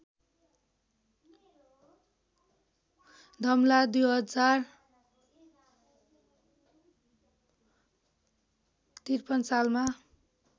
धमला २०५३ सालमा